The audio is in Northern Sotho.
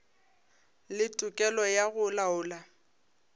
le tokelo ya go laola